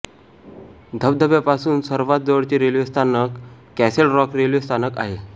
धबधब्यापसून सर्वात जवळचे रेल्वे स्थानक कॅसलरॉक रेल्वे स्थानक आहे